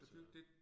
Så